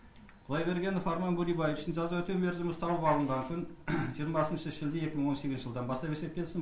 құдайбергенов арман бөребаевичтің жаза өтеу мерзімін ұстану бабы бағытын жиырмасыншы шілде екі мың он сегізінші жылдан бастап есептелсін